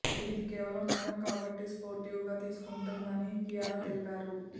ఇది కేవలం నటన కాబట్టి స్పోర్టివ్గా తీసుకుటుందని కియారా తెలిపారు